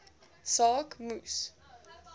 saak moes